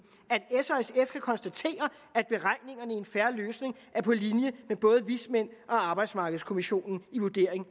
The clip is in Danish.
at konstatere at beregningerne i en fair løsning er på linje med både vismændene og arbejdsmarkedskommissionen i vurderingen